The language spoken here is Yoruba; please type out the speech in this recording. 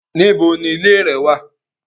Níbò ní ìlẹ̀ rẹ̀ wà?